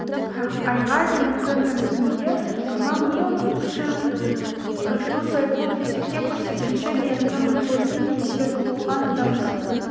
айға дейінгі мерзімге қамау не үш жүз айлық есептік көрсеткішке дейінгі мөлшерде немесе сотталған адамның